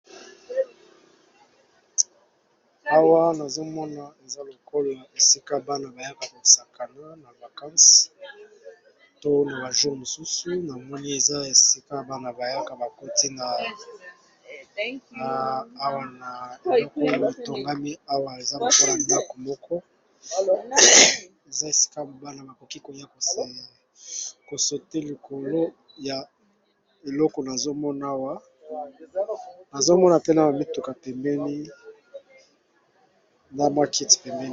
Awa nazomona eza likolo ya esika bana bayaka kosakana na bakansi tona bajo mosusu namoni eza esika bana bayaka bakoti awa na eloko ya bitongami awa eza kopona miloko moko eza esika mobana bakoki konya koseli kosote likolo ya eloko naomanazomona pene bamituka pemeni na maketi pembeni.